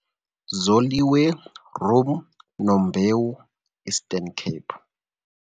Zoliwe Rhum Nombewu - Eastern Cape